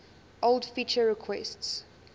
old feature requests